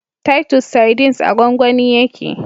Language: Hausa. Titus sardines a gwangwani yake